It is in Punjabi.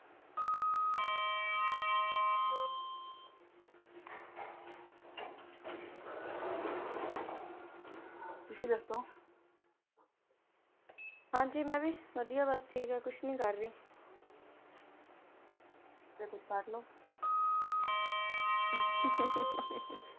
ਤੁਸੀ ਦੱਸੋ, ਹਾਂਜੀ ਮੈਂ ਵੀ ਵਦੀਆ ਬਸ ਠੀਕ ਹੈ, ਕੁੱਛ ਨਹੀਂ ਕਰ ਰੀ। ਫੇਰ ਕੁੱਛ ਕਰਲੋ ।